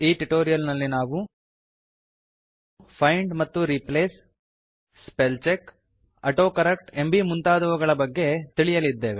ಈ ಟ್ಯುಟೋರಿಯಲ್ ನಲ್ಲಿ ನಾವು ಫೈಂಡ್ ಮತ್ತು replace spell check auto correct ಎಂಬೀ ಮುಂತಾದವುಗಳ ಬಗ್ಗೆ ತಿಳಿಯಲಿದ್ದೇವೆ